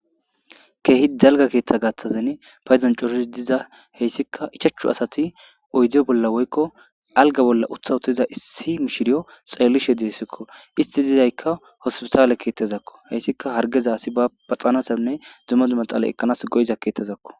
keehi dalga keettha gatthazeni paydon coris diza heyssika ichachchu asati oydi bolla woykko alga bolla utha huttiza issi mishiriyo xalelishe diesekko isti dizaykka hospisaale keettazakko heyssika hargeza asi ba paxanasanne dzumadu maxala ekkanas go7iza keettazakko.